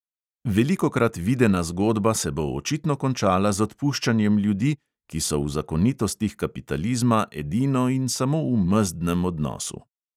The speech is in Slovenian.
Velikokrat videna zgodba se bo očitno končala z odpuščanjem ljudi, ki so v zakonitostih kapitalizma edino in samo v mezdnem odnosu.